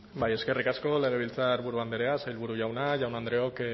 eskerrik asko legebiltzarburu andrea sailburu jauna jaun andreok